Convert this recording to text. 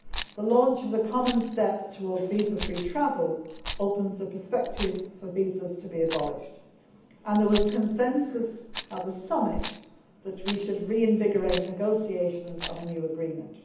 The launch of the common steps towards visa free travel opens the prospect of visas being abolished, and there was consensus at the summit that we should reinvigorate negotiations on a new agreement.